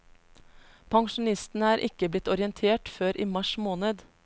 Pensjonistene er ikke blitt orientert før i mars måned.